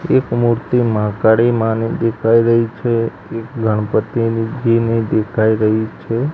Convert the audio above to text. એક મૂર્તિ મહાકાળી માની દેખાય રહી છે એક ગણપતીની દેખાય રહી છે.